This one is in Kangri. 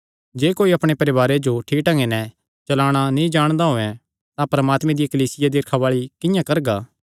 जे कोई अपणे परवारे जो ठीक ढंगे नैं चलाणा नीं जाणदा होयैं तां परमात्मे दी कलीसिया दी रखवाल़ी किंआं करगा